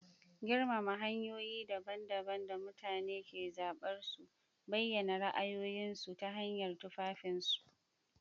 Girmama hanyoyi daban-daban da mutane ke zaɓar su bayyana ra'ayoyinsu ta hanyar tufafinsu.